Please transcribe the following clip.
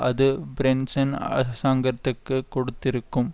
அது பிரென்சன் அரசாங்கத்திற்கு கொடுத்திருக்கும்